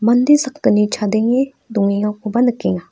mande sakgni chadenge dongengakoba nikenga.